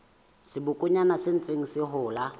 sebokonyana se ntseng se hola